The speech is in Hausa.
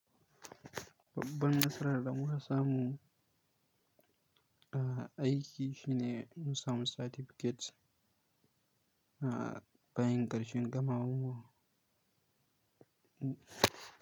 Babban nasarar da mun samu, ah, aiki shine mun samu certificate, ah, bayan karshen gamawan mu.